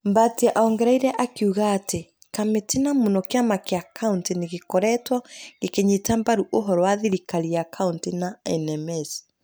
Mbatia ongereire akiuga atĩ ,Kamĩtĩ na mũno kĩama kĩa kauntĩ nĩ gĩkoretwo gĩkĩnyita mbaru ũhoro wa thirikari ya kauntĩ na NMS,